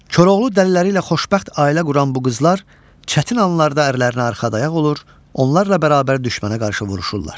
Koroğlu dəliləri ilə xoşbəxt ailə quran bu qızlar çətin anlarda ərlərinə arxa dayaq olur, onlarla bərabər düşmənə qarşı vuruşurlar.